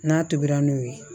N'a tobira n'o ye